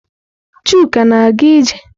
Chuka na-aga ije?